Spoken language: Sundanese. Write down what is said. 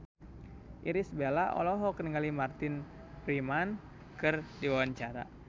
Irish Bella olohok ningali Martin Freeman keur diwawancara